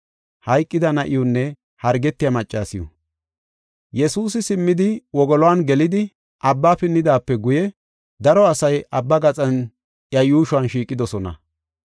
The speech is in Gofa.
Yesuusi simmidi, wogoluwan gelidi, abba pinnidaape guye daro asay abba gaxan iya yuushuwan shiiqidosona.